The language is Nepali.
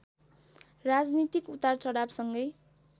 राजनीतिक उतार चढावसँगै